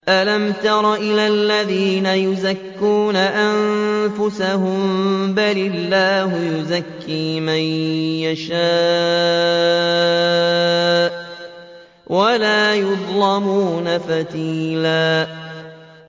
أَلَمْ تَرَ إِلَى الَّذِينَ يُزَكُّونَ أَنفُسَهُم ۚ بَلِ اللَّهُ يُزَكِّي مَن يَشَاءُ وَلَا يُظْلَمُونَ فَتِيلًا